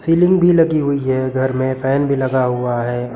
Ceiling भी लगी हुई है घर में फैन भी लगा हुआ है।